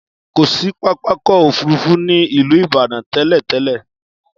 Kò sí pápákọ̀ òfúrufú ní ìlú Ìbàdàn tẹ́lẹ̀-tẹ́lẹ̀.